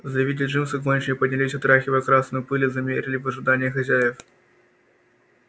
завидя джимса гончие поднялись отряхивая красную пыль и замерли в ожидании хозяев